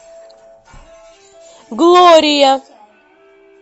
глория